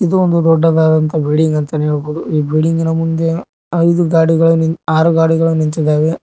ಇದು ಒಂದು ದೊಡ್ಡದಾದಂತಹ ಬಿಡ್ಡಿಂಗ್ ಅಂತಾನೆ ಹೇಳ್ಬೋದು ಈ ಬಿಡ್ಡಿಂಗ್ ಇನ ಮುಂದೆ ಐದು ಗಾಡಿಗಳು ನಿಂತ್ ಆರು ಗಾಡಿಗಳು ನಿಂತಿದಾವೆ.